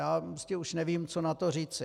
Já prostě už nevím, co na to říct.